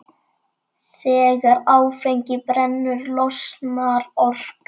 Þegar áfengi brennur losnar orka.